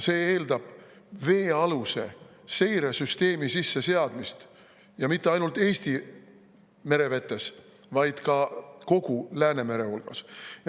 See eeldab veealuse seiresüsteemi sisseseadmist ja mitte ainult Eesti merevetes, vaid kogu Läänemerel.